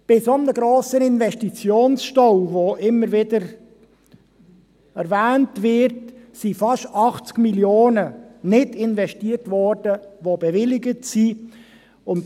Bei einem so grossen Investitionsstau, der immer wieder erwähnt wird, wurden fast 80 Mio. Franken, welche bewilligt sind, nicht investiert.